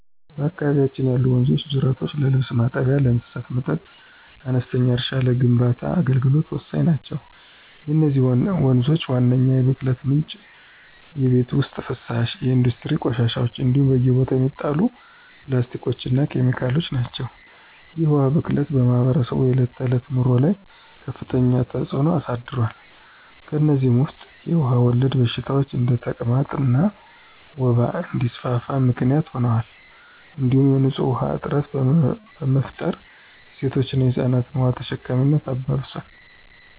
በአካባቢያችን ያሉ ወንዞችና ጅረቶች ለልብስ ማጠቢያ፣ ለእንስሳት መጠጥ፣ ለአነስተኛ እርሻና ለግንባታ አገልግሎት ወሳኝ ናቸው። የነዚህ ወንዞች ዋነኛው የብክለት ምንጭ የቤት ውስጥ ፍሳሽ፣ የኢንዱስትሪ ቆሻሻዎች እንዲሁም በየቦታው የሚጣሉ ፕላስቲኮችና ኬሚካሎች ናቸው። ይህ የውሃ ብክለት በማኅበረሰቡ የዕለት ተዕለት ኑሮ ላይ ከፍተኛ ተጽዕኖ አሳድሯል። ከእነዚህም ውስጥ የውሃ ወለድ በሽታዎች እንደ ተቅማጥና ወባ እንዲስፋፋ ምክንያት ሆኗል እንዲሁም የንፁህ ውሃ እጥረት በመፍጠር የሴቶችንና የህፃናትን የውሃ ተሸካሚነት አባብሷል።